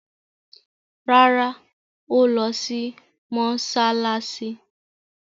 Rárá, ó lọ sí mọsálásí